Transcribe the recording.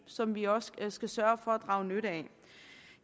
som vi også skal sørge for at drage nytte af